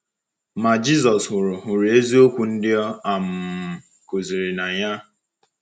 Ma Jisọs hụrụ hụrụ eziokwu ndị ọ um kụziri n’anya.